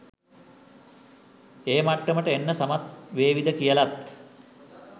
ඒ මට්ටමට එන්න සමත් වේවිද කියලත්.